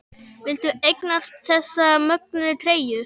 Viltu eignast þessa mögnuðu treyju?